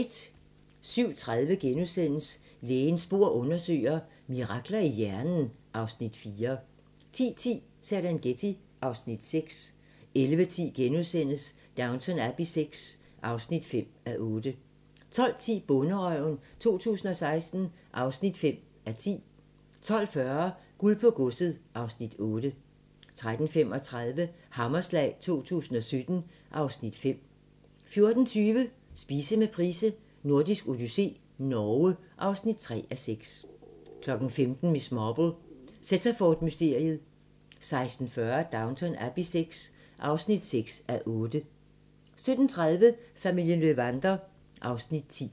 07:30: Lægens bord undersøger: Mirakler i hjernen (Afs. 4)* 10:10: Serengeti (Afs. 6) 11:10: Downton Abbey VI (5:8)* 12:10: Bonderøven 2016 (5:10) 12:40: Guld på godset (Afs. 8) 13:35: Hammerslag 2017 (Afs. 5) 14:20: Spise med Price: Nordisk odyssé - Norge (3:6) 15:00: Miss Marple: Sittaford-mysteriet 16:40: Downton Abbey VI (6:8) 17:30: Familien Löwander (Afs. 10)